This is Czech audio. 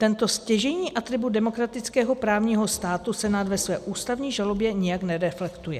Tento stěžejní atribut demokratického právního státu Senát ve své ústavní žalobě nijak nereflektuje.